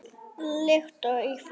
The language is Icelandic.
líkt og í fyrra.